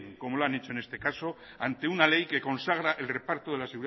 como lo han hecho en este caso ante una ley que consagra el reparto de la